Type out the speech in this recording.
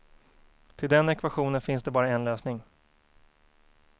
Till den ekvationen finns det bara en lösning.